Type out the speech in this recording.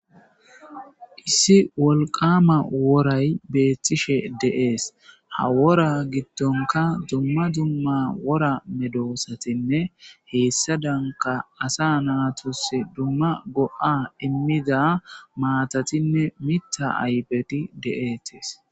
issi wolqama woray beettishe de7ees ha wora giddonka dumma dumma wora medoosatinne heessa danka asa naatus dumma go7a immida maatatinne mitha ayfeti de7eettees